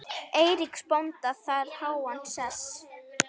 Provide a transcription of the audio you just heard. Eiríks bónda þar háan sess.